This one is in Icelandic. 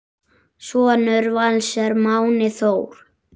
Sonur Vals er Máni Þór.